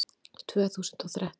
Tvö þúsund og þrettán